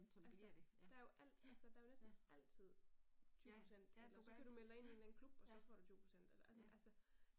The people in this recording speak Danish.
Altså der er jo alt altså der er jo næsten altid 20 procent eller så kan du melde dig ind i en eller anden klub og så får du 20 procent eller altså